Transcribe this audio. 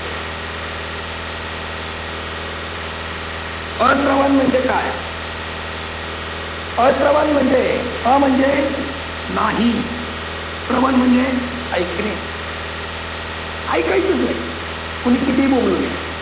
अश्रवण म्हणजे काय? अश्रवण म्हणजे अ म्हणजे नाही श्रवण म्हणजे ऐकणे ऐकायचंच नाही. कोणी कितीही बोंबलू द्या.